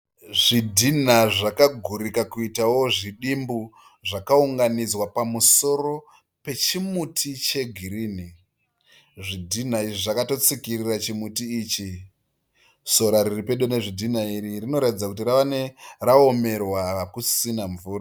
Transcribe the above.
Zvidhinha zvakagurika kuitawo zvidimbu zvakaunganidzwa pamusoro pechimuti cheghirini. Zvidhinha izvi zvakatotsikirira chimuti ichi. Sora riri pedo nezvidhinha izvi rinoratidza kuti raomerwa hakusina mvura.